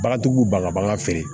Bagantigiw b'u ban ka bagan feere